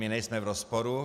My nejsme v rozporu.